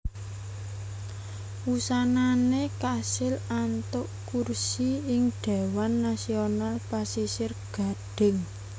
Wusanané kasil antuk kursi ing Dhéwan Nasional Pasisir Gadhing